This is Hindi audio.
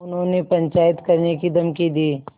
उन्होंने पंचायत करने की धमकी दी